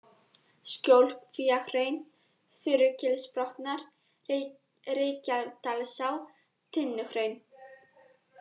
Skjólkvíahraun, Þurugilsbotnar, Reykjadalsá, Tinnuhraun